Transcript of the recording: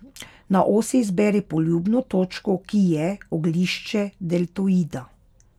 Na osi izberi poljubno točko, ki je oglišče deltoida.